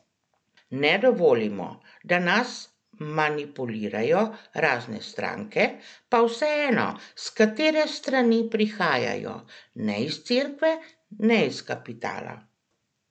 Ne dovolimo, da nas manipulirajo razne stranke, pa vseeno, s katere strani prihajajo, ne iz cerkve, ne iz kapitala!